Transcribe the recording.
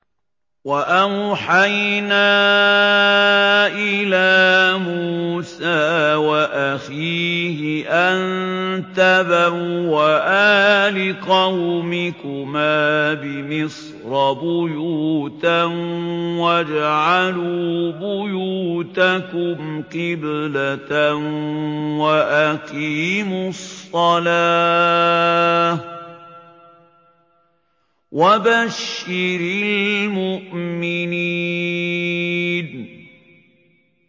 وَأَوْحَيْنَا إِلَىٰ مُوسَىٰ وَأَخِيهِ أَن تَبَوَّآ لِقَوْمِكُمَا بِمِصْرَ بُيُوتًا وَاجْعَلُوا بُيُوتَكُمْ قِبْلَةً وَأَقِيمُوا الصَّلَاةَ ۗ وَبَشِّرِ الْمُؤْمِنِينَ